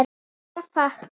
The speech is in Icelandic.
Ég fékk